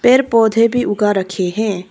पेड़ पौधे भी उगा रखे है।